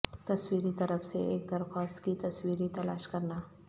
تصویری طرف سے ایک درخواست کی تصویری تلاش کرنا